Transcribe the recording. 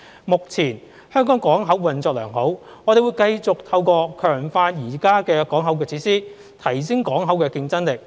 目前香港港口運作良好，我們會繼續透過強化現有港口設施，提升港口競爭力。